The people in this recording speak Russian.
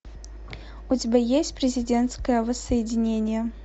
у тебя есть президентское воссоединение